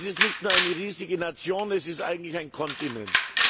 Es ist nicht nur eine riesige Nation, es ist eigentlich ein Kontinent.